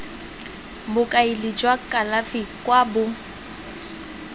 bokaedi jwa kalafi kwa bo